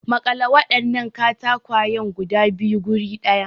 Makale wadannan katakwayen guda biyu guri daya.